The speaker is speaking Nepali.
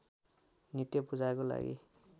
नित्य पूजाको लागि